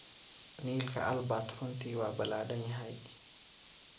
Niilka Albert runtii waa ballaadhan yahay.